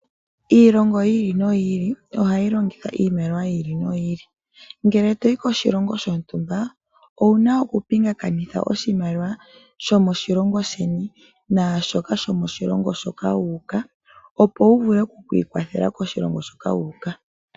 Iilongo ya yooloka ohayi longitha iimaliwa yomaludhi ga yooloka. Uuna toyi koshilongo shotumba owu na okupingakanitha oshimaliwa shomoshilongo sheni naashoka shomoshilongo shoka wuuka opo wu vule okukiikwathela koshilongo hoka wuuka.